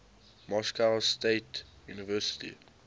moscow state university